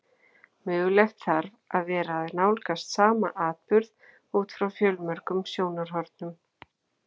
Mögulegt þarf að vera að nálgast sama atburð út frá fjölmörgum sjónarhornum.